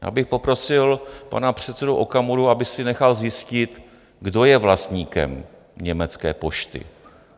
Já bych poprosil pana předsedu Okamuru, aby si nechal zjistit, kdo je vlastníkem Německé pošty.